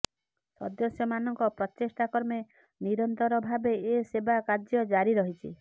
ସଦସ୍ୟ ମାନଙ୍କ ପ୍ରଚେଷ୍ଟା କ୍ରମେ ନିରନ୍ତର ଭାବେ ଏ ସେବା କାର୍ଯ୍ୟ ଜାରି ରହିଛି